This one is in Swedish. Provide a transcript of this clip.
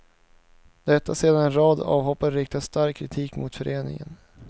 Detta sedan en rad avhoppare riktat stark kritik mot föreningen.